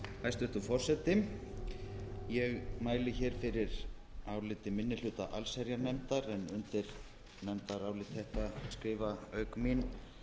hæstvirtur forseti ég mæli hér fyrir áliti minni hluta allsherjarnefndar en undir nefndarálit þetta skrifa auk mín